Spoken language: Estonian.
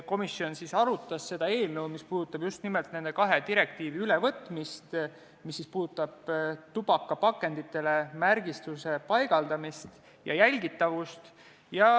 Komisjon arutas seda eelnõu, mis puudutab nende kahe direktiivi ülevõtmist, mis käsitlevad tubakapakenditele märgistuse paigaldamist ja selle jälgitavust.